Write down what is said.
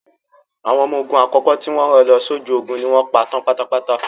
Àwọn ọmọ ogun àkọ́kọ́ tí wọ́n rán lọ sójú ogun ni wọ́n pa tán pátápátá.